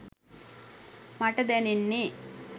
මට දැනෙන්නේ